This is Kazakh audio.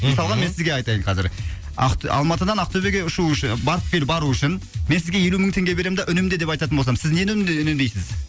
мысалға мен сізге айтайын қазір алматыдан ақтөбеге ұшу үшін барып кел бару үшін мен сізге елу мың теңге берем да үнемде деп айтатын болсам сіз нені үнемдейсіз